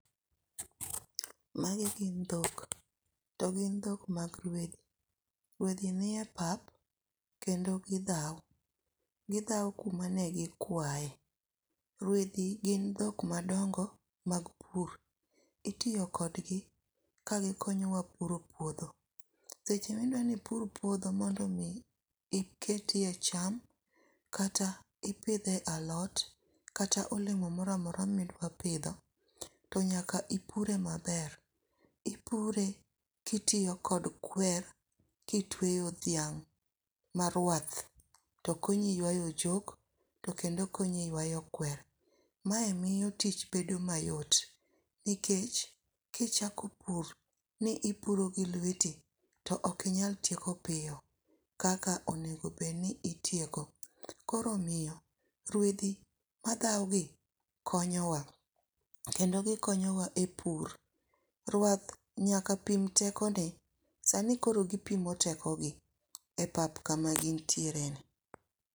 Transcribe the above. Magi gin dhok. To gin dhok mag rwedhi. Rwedhi ni e papa kendo gidhao. Gidhao kuma ne gikwae. Rwedhi gin dhok madongo mag pur. Itiyo kodgi ka gikonyowa puro puodho. Seche ma idwa ni ipur puodho mondo omi iketie cham kata ipidhie alot, kata olemo moro amora ma idwa pidho, to nyaka ipure maber. Ipure kitiyo kod kwer, kitweyo dhiang' ma rwath. To konyi ywayo ochok, to kendo konyi ywayo kwer. Mae miyo tich bedo mayot. Nikech, kichako pur, ni ipuro gi lweti, to okinyal tieko piyo kaka onego bed ni itieko. Koro omiyo rwedhi madhao gi konyowa. Kendo gikonyo wa e pur. Rwath nyaka pim tekone, sani koro gipimo tekogi. E pap kama gin tiere ni.